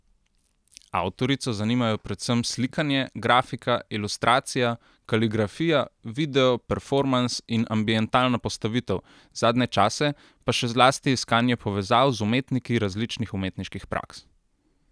Avtorico zanimajo predvsem slikanje, grafika, ilustracija, kaligrafija, video, performans in ambientalna postavitev, zadnje čase pa še zlasti iskanje povezav z umetniki različnih umetniških praks.